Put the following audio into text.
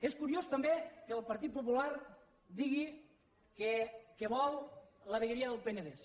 és curiós també que el partit popular digui que vol la vegueria del penedès